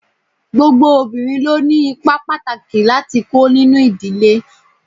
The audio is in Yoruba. Gbogbo obìnrin ló ni ipa pàtàkì láti kó nínú ìdílé.